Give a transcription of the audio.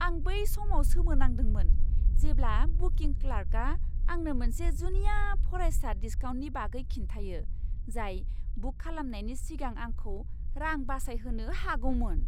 आं बै समाव सोमोनांदोंमोन जेब्ला बुकिं क्लार्कआ आंनो मोनसे जुनिया फरायसा डिस्काउन्टनि बागै खिन्थायो जाय बुक खालामनायनि सिगां आंखौ रां बासायहोनो हागौमोन।